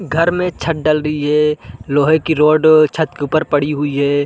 घर में छत डल रही है लोहे की रॉड छत के ऊपर पड़ी हुई हैं ।